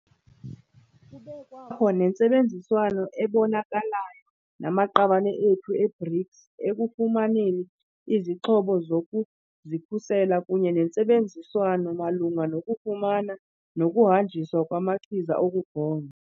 Kube kwakho nentsebenziswano ebonakalayo namaqabane ethu e-BRICS ekufumaneni izixhobo zokuzikhusela kunye nentsebenziswano malunga nokufumana nokuhanjiswa kwamachiza okugonya.